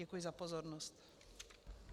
Děkuji za pozornost.